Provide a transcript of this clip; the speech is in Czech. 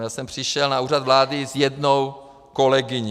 Já jsem přišel na Úřad vlády s jednou kolegyní.